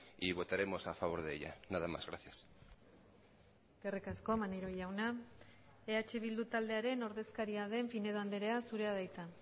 y votaremos a favor de ella nada más gracias eskerrik asko maneiro jauna eh bildu taldearen ordezkaria den pinedo andrea zurea da hitza